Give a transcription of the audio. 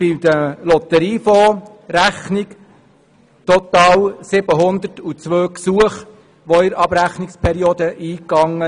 Bei der Lotteriefondsrechnung sind in der Abrechnungsperiode total 102 Gesuche eingegangen.